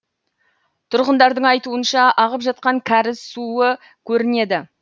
тұрғындардың айтуынша ағып жатқан кәріз суы көрінеді